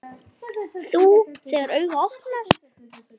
Þú, þegar augu opnast.